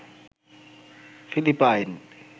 Philippine